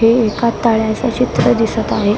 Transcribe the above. हे एका तळ्याचं चित्र दिसत आहे.